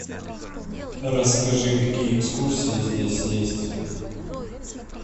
расскажи какие экскурсии здесь есть